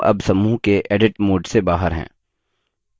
हम अब समूह के edit mode से बाहर हैं